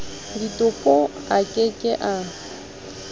ditopo a ke ke a